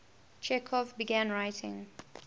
chekhov began writing